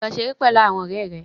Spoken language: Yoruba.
Lọ ṣeré pẹ̀lú àwọn ọ̀rẹ́ rẹ.